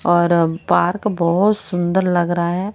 और अह पार्क बहुत सुंदर लग रहा है।